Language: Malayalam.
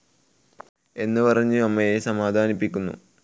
എന്നു പറഞ്ഞു അമ്മയെ സമാധാനിപ്പിക്കുന്നു.